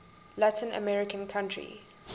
latin american country